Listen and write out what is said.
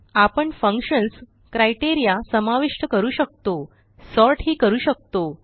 आपण functions criteria समाविष्ट करू शकतो सॉर्ट ही करू शकतो